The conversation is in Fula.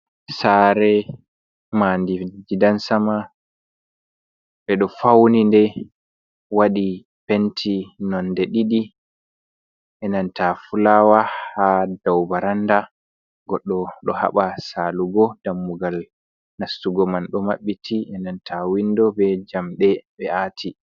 Sare mandi gidansama ɓeɗo fauni nde waɗi penti nonde ɗiɗi e nan ta fulawa ha dou baranda, goɗɗo ɗo haba salugo dammugal nastugo man ɗo maɓɓiti inan ta windo be jamɗe ɓe ati.